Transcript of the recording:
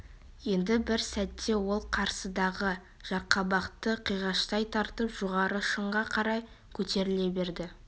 енді бір сәтте ол қарсыдағы жарқабақты қиғаштай тартып жоғары шыңға қарай көтеріле берді